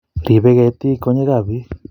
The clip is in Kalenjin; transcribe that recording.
ribei ketik konyekab beek